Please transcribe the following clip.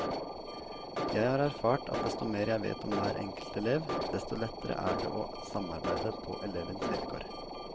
Jeg har erfart at desto mer jeg vet om hver enkelt elev, desto lettere er det å samarbeide på elevens vilkår.